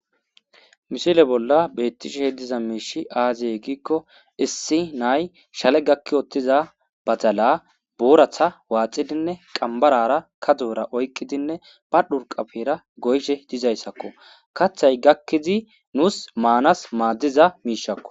mishile bolla bettisheh diza miishi aaziye giikko issi nay shale gakki oottiza badala booratha waaxidinne qambarara kadora oyqqidinne ba dhurqapfeera goyshe dizayssakko kaththay gakkizi nuus maanas maaddiza miishakko